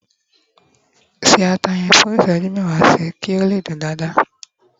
ṣe ata yen fún iṣẹju mẹwa sí, ki o le dün dada